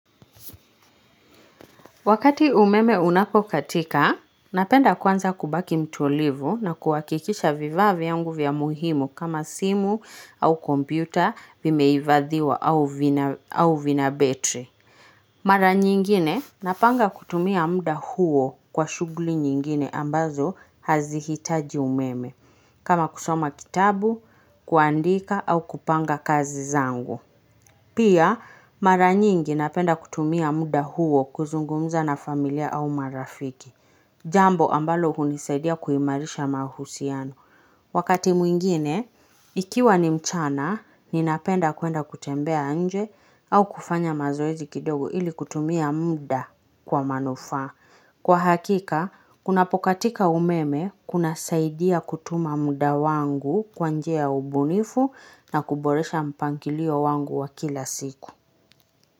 Wakati umeme unapokatika, napenda kwanza kubaki mtulivu na kuhakikisha vifaa vyangu vya muhimu kama simu au kompyuta vimehifadhiwa au vina betri. Mara nyingine napanga kutumia muda huo kwa shughuli nyingine ambazo hazihitaji umeme kama kusoma kitabu, kuandika au kupanga kazi zangu. Pia mara nyingi napenda kutumia muda huo kuzungumza na familia au marafiki. Jambo ambalo hunisaidia kuimarisha mahusiano. Wakati mwingine, ikiwa ni mchana, ninapenda kuenda kutembea nje au kufanya mazoezi kidogo ili kutumia muda kwa manufaa. Kwa hakika, kunapokatika umeme kunasaidia kutumia muda wangu kwa njia ya ubunifu na kuboresha mpangilio wangu wa kila siku.